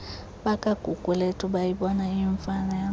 bakagugulethu bayibona iyimfanelo